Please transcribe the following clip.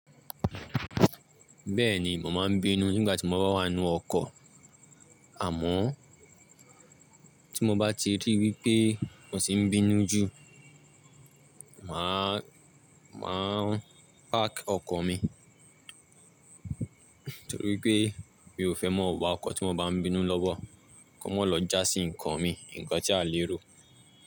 Bẹ́ẹ̀ni, mo máa ń bínú nígbà tí mo bá wà nínú ọkọ̀, àmọ́ tí mo bá ti ríi wípé mo ti ń bínú jù, màá máa park ọkọ̀ mi. Nítorí pé mi ò fẹ́ mọ wà ọkọ̀ tí mo bá ń bínú lọ́wọ́, kó má lọ já sí nǹkan mi, nǹkan tí a lè ro.